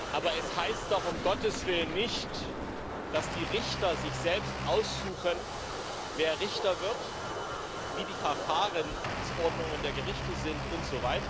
Aber es heißt doch um Gottes Willen nicht, dass die Richter sich selbst aussuchen, wer Richter wird, wie die Verfahrensordnungen der Gerichte sind usw.